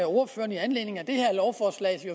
ordføreren i anledning af det her lovforslag